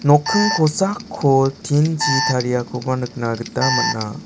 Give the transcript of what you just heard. nokking kosakko tin chi tariakoba nikna gita man·a.